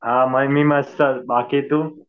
हा मी मस्तच. बाकी तू?